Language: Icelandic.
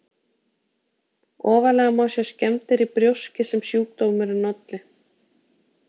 Ofarlega má sjá skemmdir í brjóski sem sjúkdómurinn olli.